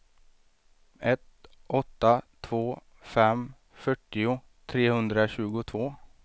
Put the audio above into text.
ett åtta två fem fyrtio trehundratjugotvå